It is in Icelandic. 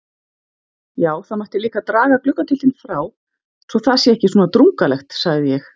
Já, það mætti líka draga gluggatjöldin frá svo það sé ekki svona drungalegt sagði ég.